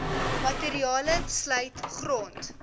materiale sluit grond